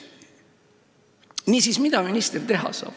Niisiis, mida minister teha saab?